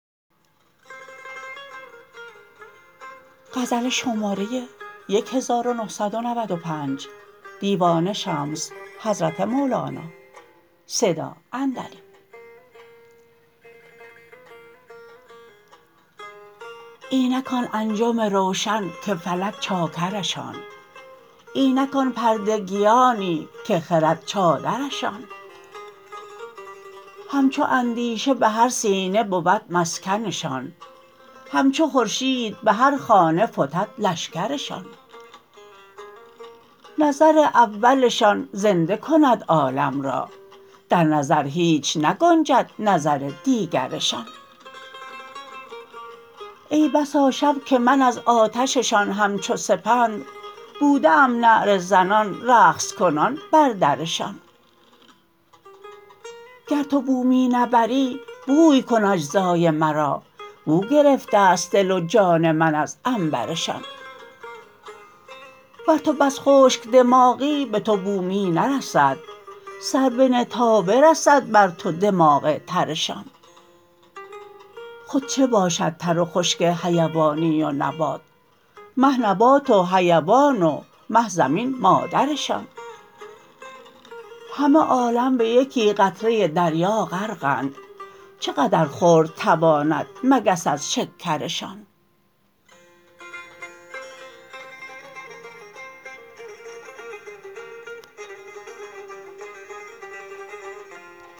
اینک آن انجم روشن که فلک چاکرشان اینک آن پردگیانی که خرد چادرشان همچو اندیشه به هر سینه بود مسکنشان همچو خورشید به هر خانه فتد لشکرشان نظر اولشان زنده کند عالم را در نظر هیچ نگنجد نظر دیگرشان ای بسا شب که من از آتششان همچو سپند بوده ام نعره زنان رقص کنان بر درشان گر تو بو می نبری بوی کن اجزای مرا بو گرفته ست دل و جان من از عنبرشان ور تو بس خشک دماغی به تو بو می نرسد سر بنه تا برسد بر تو دماغ ترشان خود چه باشد تر و خشک حیوانی و نبات مه نبات و حیوان و مه زمین مادرشان همه عالم به یکی قطره دریا غرقند چه قدر خورد تواند مگس از شکرشان